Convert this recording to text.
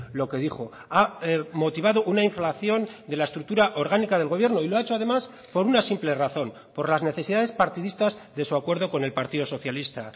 lo que dijo ha motivado una inflación de la estructura orgánica del gobierno y lo ha hecho además por una simple razón por las necesidades partidistas de su acuerdo con el partido socialista